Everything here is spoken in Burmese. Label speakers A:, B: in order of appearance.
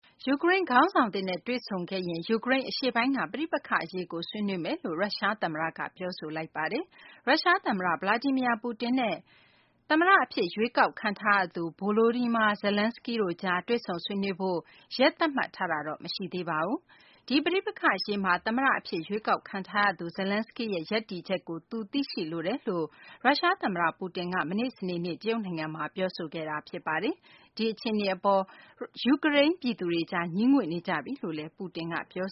A: ယူကရိန်း ခေါင်းဆောင်သစ်နဲ့ တွေ့ဆုံခဲ့ရင် ယူကရိန်း အရှေ့ပိုင်းက ပဋိပက္ခအရေးကို ဆွေးနွေးမယ်လို့ ရုရှား သမ္မတက ပြောဆိုခဲ့ပါတယ်။ ရုရှား သမ္မတ Vladimir Putin နဲ့ ယူကရိန်း သမ္မတ အဖြစ် ရွေးကောက်ခံထားရသူ Volodymyr Zelenskiy တို့ကြား တွေ့ဆုံ ဆွေးနွေးဖို့ ရက်သတ်မှတ်ထားတာတော့ မရှိသေးပါဘူး။ ဒီပဋိပက္ခ အရေးမှာ သမ္မတအဖြစ် ရွေးကောက်ခံထားရသူ Zelenskiy ရဲ့ ရပ်တည်ချက်ကို သူသိရှိလိုတယ်လို့ ရုရှား သမ္မတ ပူတင်က မနေ့ စနေနေ့ တရုတ်နိုင်ငံမှာ ပြောဆိုခဲ့တာ ဖြစ်ပါတယ်။ ဒီအခြေအနေအပေါ် ယူကရိန်း ပြည်သူတွ
B: ေ ငြီးငွေ့နေကြပြီလို့လည်း ပူတင်က ပြော